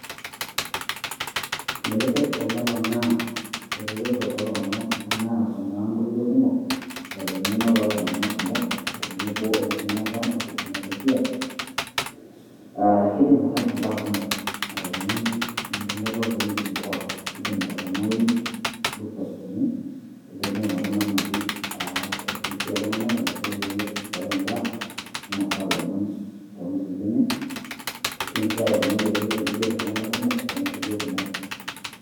Keyieu enkampuni etelecom neponaa eretoto tooltung'anak kumok anaa eponaa inkutukie kumok o tenebo enkiminata etekinolojia uhhaa keidim ataasa baa kumok, atoponai entumoto too wejitin pookin keidim atoponai bustas lenye, keidim aing'oru namna pee eifundishae iltung'anak enaiko pee eishoyo baa, neinasaa ilomon too ngutukie enye, keidim sii atoponai eretoto naijio eneigerr iltung'anak kumok too ngutukie kumok.